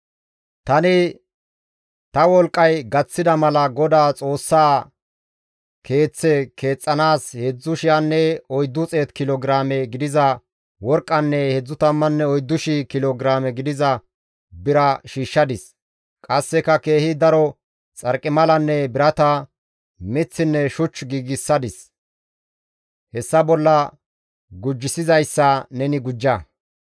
«Tani ta wolqqay gaththida mala Godaa Xoossaa Keeththe keexxanaas 3,400 kilo giraame gidiza worqqanne 34,000 kilo giraame gidiza bira shiishshadis; qasseka keehi daro xarqimalanne birata, miththinne shuch giigsadis; hessa bolla gujissizayssa neni gujja.